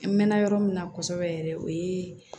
N mɛn na yɔrɔ min na kosɛbɛ yɛrɛ o ye